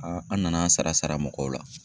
an nana an sara sara mɔgɔw la.